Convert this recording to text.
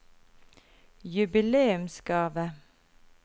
jubileumsgave